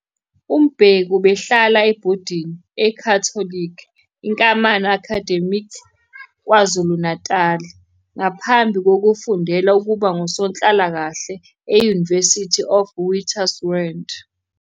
UMbeki ubehlala ebhodini e-Catholic Inkamana Academy KwaZulu-Natal ngaphambi kokufundela ukuba ngusonhlalakahle e- University of Witwatersrand.